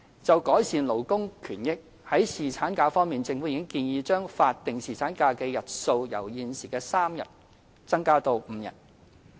就改善勞工權益方面，政府已建議將法定侍產假的日數由現時3天增至5天。